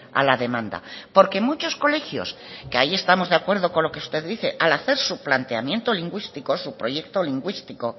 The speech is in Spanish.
a la demanda porque muchos colegios que ahí estamos de acuerdo con lo que usted dice al hacer su planteamiento lingüístico su proyecto lingüístico